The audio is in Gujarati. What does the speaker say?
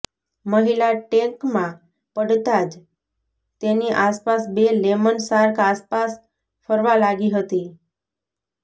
મહિલા ટેંકમાં પડતા જ તેની આસપાસ બે લેમન શાર્ક આસપાસ ફરવા લાગી હતી